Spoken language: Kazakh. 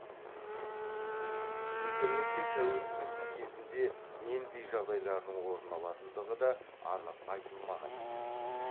интернетке тәуелділік кезінде нендей жағдайлардың орын алатындығы да анық айтылмаған екен